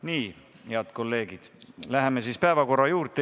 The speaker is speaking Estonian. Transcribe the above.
Nii, head kolleegid, läheme päevakorra juurde.